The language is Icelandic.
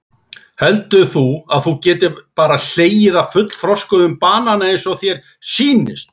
Heldur þú að þú getir bara hlegið af fullþroskuðm banana eins og þér sýnist?